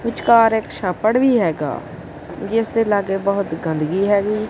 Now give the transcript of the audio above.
ਵਿਚਕਾਰ ਇੱਕ ਛਾਪੜ ਵੀ ਹੈਗਾ ਜਿਸ ਦੇ ਲਾਗੇ ਬਹੁਤ ਗੰਦਗੀ ਹੈਗੀ।